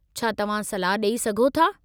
छा तव्हां सलाह ॾेई सघो था?